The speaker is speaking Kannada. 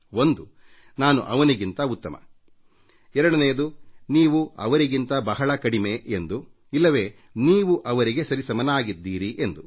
ಒಂದು ನಾನು ಅವನಿಗಿಂತ ಉತ್ತಮ ಎರಡನೆಯದ್ದು ನೀವು ಅವರಿಗಿಂತ ಬಹಳ ಕಡಿಮೆ ಎಂದು ಇಲ್ಲವೇ ನೀವು ಅವರಿಗೆ ಸರಿಸಮಾನರಾಗಿದ್ದೀರಿ ಎಂದು